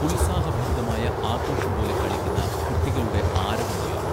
ഉത്സാഹഭരിതമായ ആഘോഷം പോലെ കളിക്കുന്ന കുട്ടികളുടെ ആരവമുയർന്നു